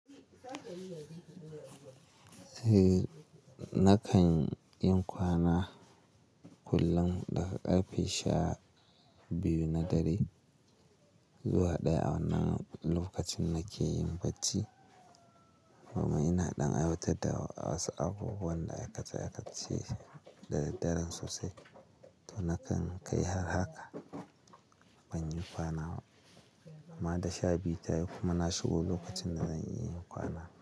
Eh, nakan yin kwana kullum daga karfe sha biyu na dare zuwa ɗaya a wannan lokacin nake yin bacci. Kuma ina ɗan aiwatar da wasu abubuwan da aikace-aikace da daren sosai. To, nakan kai har haka ban yi kwana ba. Amma da sha biyu ta yi kuma na shigo lokacin da zan iya yin kwana.